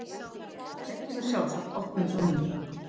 Þau tækju mér sjálfsagt opnum örmum.